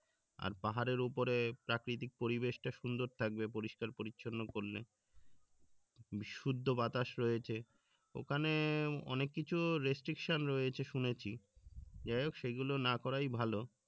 আর পাহাড়ের উপরে প্রাকৃতিক পরিবেশটা সুন্দর থাকবে পরিষ্কার-পরিচ্ছন্ন করলে বিশুদ্ধ বাতাস রয়েছে ওখানে অনেক কিছু রয়েছে শুনেছি যাই হোক সেগুল না করাই ভালো